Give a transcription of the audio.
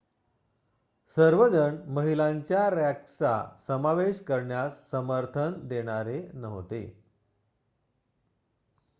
सर्वजण महिलांच्या रँक्सचा समावेश करण्यास समर्थन देणारे नव्हते